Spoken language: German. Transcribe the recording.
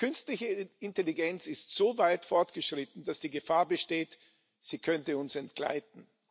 Die künstliche Intelligenz ist so weit fortgeschritten, dass die Gefahr besteht, sie könnte uns entgleiten.